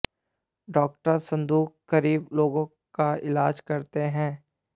doctor संदूक गरीब लोगों का इलाज करते हैं